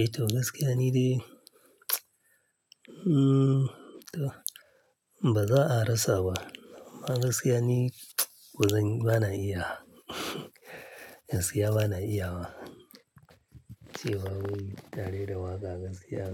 Eh, ta gaskiya ni dai Mm, to ba za a rasa ba. Amma gaskiya ni kaman, ba na iya. Gaskiya bana iya wa. Cewa nayi tare da waƙa gaskiya.